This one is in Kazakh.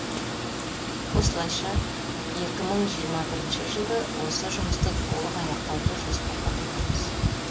осылайша екі мың жиырма бірінші жылды осы жұмысты толық аяқтауды жоспарлап отырмыз